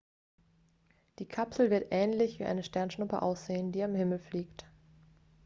die kapsel wird ähnlich wie eine sternschuppe aussehen die am himmel fliegt